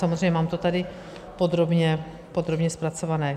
Samozřejmě mám to tady podrobně, podrobně zpracované.